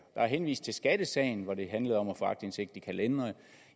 der er henvist til skattesagen hvor det handlede om at få aktindsigt i kalendere